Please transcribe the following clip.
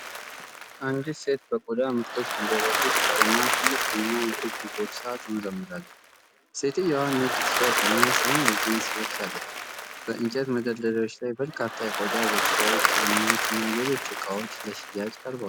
አንዲት ሴት በቆዳ ምርቶች መደብር ውስጥ ቆማ ትልቅ ቡናማ የእጅ ቦርሳ ትመረምራለች። ሴትየዋ ነጭ ቲሸርት እና ሰማያዊ ጂንስ ለብሳለች። በእንጨት መደርደሪያዎች ላይ በርካታ የቆዳ ቦርሳዎች፣ ጫማዎች እና ሌሎች እቃዎች ለሽያጭ ቀርበዋል።